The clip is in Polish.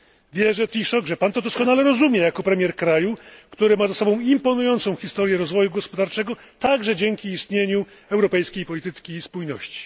Wierzę, Panie Premierze, że Pan to doskonale rozumie jako premier kraju, który ma za sobą imponującą historię rozwoju gospodarczego, także dzięki istnieniu europejskiej polityki spójności.